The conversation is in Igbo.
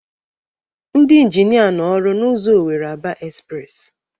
Ndị ịnginia nọ ọrụ n'ụzọ Owere-Aba espres